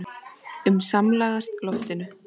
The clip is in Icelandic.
um samlagast loftinu.